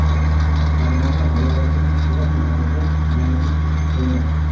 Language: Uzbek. Farg‘ona viloyatining Quva tumaniga yangi hokim tayinlandi.